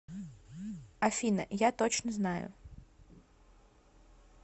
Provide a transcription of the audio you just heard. афина я точно знаю